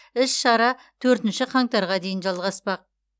іс шара төртінші қаңтарға дейін жалғаспақ